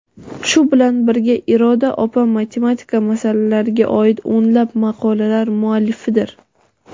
Shu bilan birga Iroda opa matematik masalalarga oid o‘nlab maqolalar muallifidir.